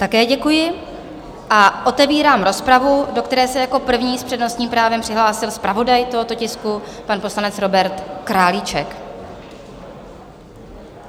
Také děkuji a otevírám rozpravu, do které se jako první s přednostním právem přihlásil zpravodaj tohoto tisku, pan poslanec Robert Králíček.